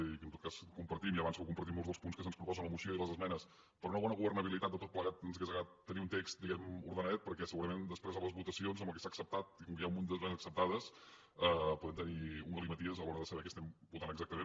i que en tot cas compartim ja avanço que compartim molts dels punts que se’ns proposen a la moció i les esmenes per una bona governabilitat de tot plegat ens hauria agradat tenir un text diguemne ordenadet perquè segurament després a les votacions amb el que s’ha acceptat i com que hi ha un munt d’esmenes acceptades podem tenir un galimaties a l’hora saber què estem votant exactament